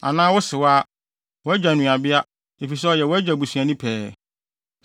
“ ‘Anaa wo sewaa—wo agya nuabea, efisɛ ɔyɛ wʼagya busuani pɛɛ.